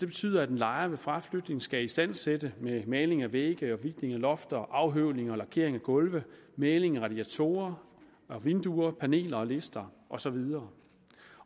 betyder at en lejer ved fraflytning skal istandsætte med maling af vægge hvidtning af lofter afhøvling og lakering af gulve maling af radiatorer vinduer paneler lister og så videre